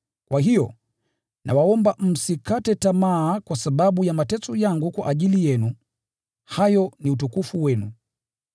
Kwa hiyo, nawaomba msikate tamaa kwa sababu ya mateso yangu kwa ajili yenu, hayo ni utukufu wenu.